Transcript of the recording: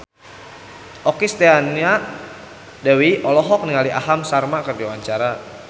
Okky Setiana Dewi olohok ningali Aham Sharma keur diwawancara